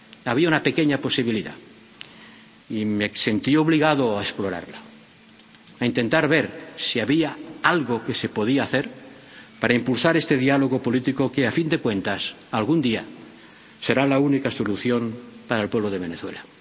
Había una pequeña posibilidad, y me sentí obligado a explorarla, a intentar ver si había algo que se podía hacer para impulsar este diálogo político que, a fin de cuentas, algún día será la única solución para el pueblo de Venezuela.